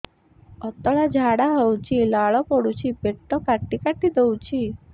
ପତଳା ଝାଡା ହଉଛି ଲାଳ ପଡୁଛି ପେଟ କାଟି କାଟି ଦଉଚି